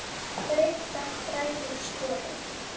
Greikka bræður sporið.